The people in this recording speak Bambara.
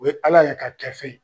O bɛ al'an yɛrɛ ka